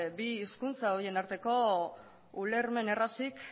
bi hizkuntza horien arteko ulermen errazik